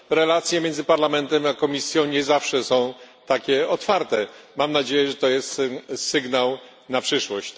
Relacje między Parlamentem a Komisją nie zawsze są takie otwarte. Mam nadzieję, że to jest sygnał na przyszłość.